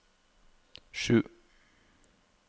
sju